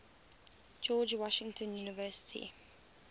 george washington university